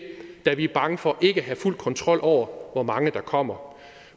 da vi er bange for ikke at have fuld kontrol over hvor mange der kommer